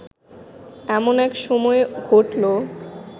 এমন এক সময়ে ঘটল